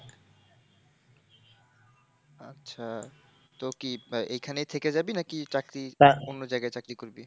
আচ্ছা, তো কি এখানেই থেকে যাবি নাকি? চাকরি অন্য জায়গায় চাকরি করবি?